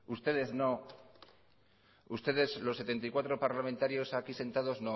ustedes no ustedes los setenta y cuatro parlamentarios aquí sentados